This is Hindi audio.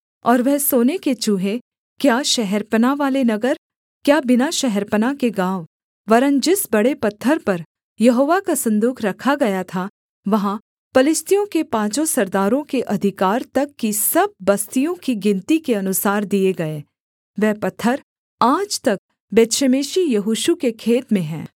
और वह सोने के चूहे क्या शहरपनाह वाले नगर क्या बिना शहरपनाह के गाँव वरन् जिस बड़े पत्थर पर यहोवा का सन्दूक रखा गया था वहाँ पलिश्तियों के पाँचों सरदारों के अधिकार तक की सब बस्तियों की गिनती के अनुसार दिए गए वह पत्थर आज तक बेतशेमेशी यहोशू के खेत में है